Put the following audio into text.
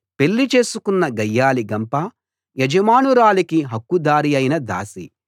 పెళ్లి చేసుకున్న గయ్యాళి గంప యజమానురాలికి హక్కు దారైన దాసి